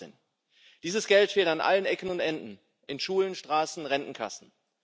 2018. Dieses Geld fehlt an allen Ecken und Enden, in Schulen, Straßen, Rentenkassen.